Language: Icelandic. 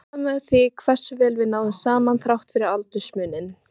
Ég furðaði mig á því hversu vel við náðum saman þrátt fyrir aldursmuninn.